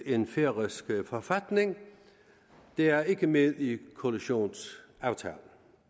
en færøsk forfatning det er ikke med i koalitionsaftalen